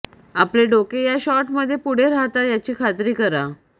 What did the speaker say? आपले डोके या शॉटमध्ये पुढे राहतात याची खात्री करा